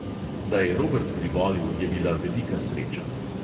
Da je robert privolil, je bila velika sreča.